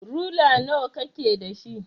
Rula nawa kake da shi?